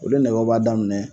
Olu nɛgɛw b'a daminɛ